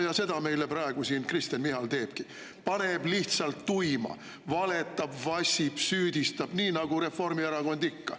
" Ja seda praegu Kristen Michal siin teebki: paneb lihtsalt tuima, valetab, vassib, süüdistab nii nagu Reformierakond ikka.